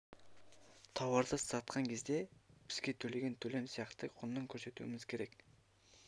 тауарды сатқан кезде бізге төлеген төлем сияқты құнын көрсетуіміз керек